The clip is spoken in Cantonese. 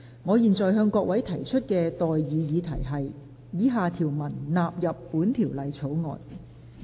我現在向各位提出的待議議題是：以下條文納入本條例草案。